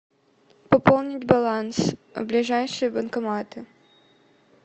пополнить баланс ближайшие банкоматы